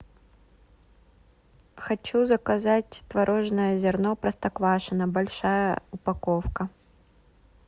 хочу заказать творожное зерно простоквашино большая упаковка